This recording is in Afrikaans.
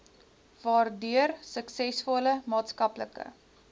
waardeur suksesvolle maatskaplike